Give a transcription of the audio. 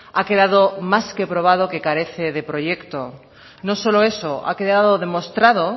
ha quedado más que probado que carece de proyecto no solo eso ha quedado demostrado